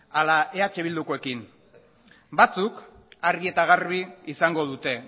ala eh bildukoekin batzuk argi eta garbi izango dute